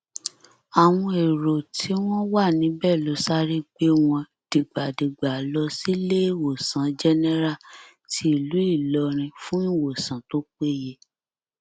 àwọn èrò tí wọn wà níbẹ ló sáré gbé wọn dìgbàdìgbà lọ síléèwòsàn jẹnẹrà tìlú ìlọrin fún ìwòsàn tó péye